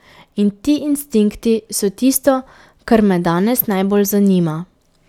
In ti instinkti so tisto, kar me danes najbolj zanima.